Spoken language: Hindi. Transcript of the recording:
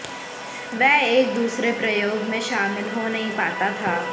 वे एक दूसरे प्रयोग में शामिल हो नहीं पता था